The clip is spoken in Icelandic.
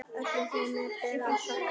Öllum þeim ber að þakka.